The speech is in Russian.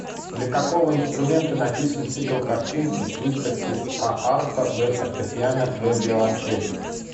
для какого инструмента написан цикл картинки с выставки а арфа б фортепиано в виолончель